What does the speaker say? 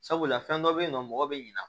Sabula fɛn dɔ be yen nɔ mɔgɔ bi ɲina